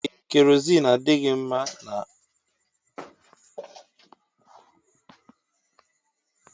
Ee kerozini adịghị mma na-agba mmadụ ọkụ